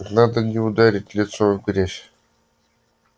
надо не ударить лицом в грязь